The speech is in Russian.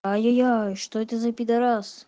ай яй яй что это за пидорас